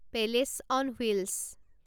palace on wheels